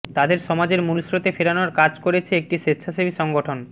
তাদের সমাজের মূলস্রোতে ফেরানোর কাজ করছে একটি স্বেচ্ছাসেবী সংগঠন